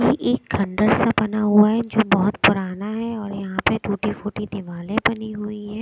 ये एक खण्डर सा बना हुआ है जो बहोत पुराना है और यहां पे टूटी फूटी दिवाले बनी हुई है।